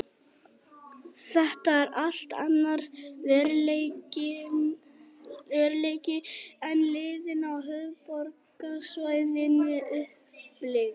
Þetta er allt annar veruleiki en liðin á höfuðborgarsvæðinu upplifa.